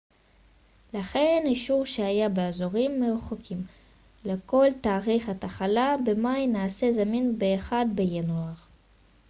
לכן אישור שהייה באזורים מרוחקים לכל תאריך התחלה במאי נעשה זמין ב-1 בינואר